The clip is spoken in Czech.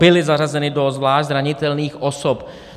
Byli zařazeni do zvlášť zranitelných osob.